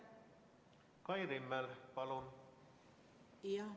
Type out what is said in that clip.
Kai Rimmel, palun!